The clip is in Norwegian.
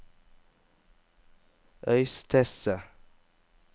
Øystese